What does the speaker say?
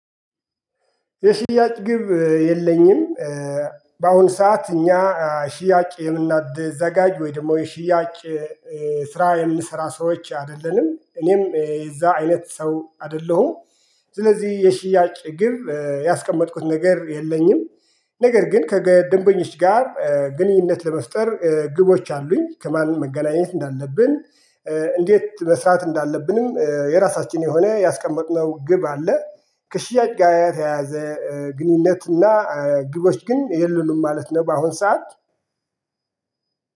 የሽያጭ ግብ የለኝም በአሁን ሰዓት እኛ ሽያጭ የምናድዘጋጅ ወይም ደግሞ የሽያጭ ስራ የምንሰራ ሰዎች አይደለንም። እኔም የዛ አይነት ሰው አይደለሁም። ስለዚህ የሽያጭ ግብ ያስቀመጥኩት ነገር የለኝም። ነገር ግን ከገደንበኞች ጋር ግንኙነት ለመፍጠር ግቦች አሉኝ። ከማን መገናኘት እንዳለብን እንዴት መስራት እንዳለብንም የራሳችን የሆነ ያስቀመጥነው ግብ አለ። ከሽያጭ ጋር የተያያዘ ግንኙነት እና ግቦች ግን የሉንም ማለት ነው በአሁን ሰዓት።